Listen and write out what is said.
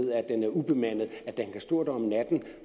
ubemandet at den kan stå der om natten